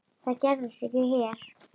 Það gerist ekki hér.